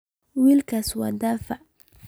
Wiilkaasi waa daciif